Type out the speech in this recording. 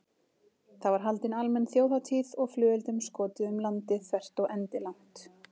Það var haldin almenn þjóðhátíð og flugeldum skotið um landið þvert og endilangt.